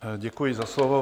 Děkuji za slovo.